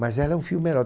Mas ela é um fio